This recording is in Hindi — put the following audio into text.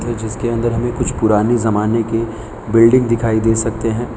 जिसके अंदर हमें कुछ पुराने जमाने की बिल्डिंग दिखाई दे सकते हैं।